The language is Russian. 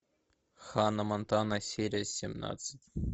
ханна монтана серия семнадцать